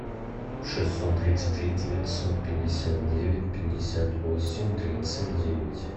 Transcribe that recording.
шестьсот тридцать три девятьсот пятьдесят девять пятьдесят восемь тридцать девять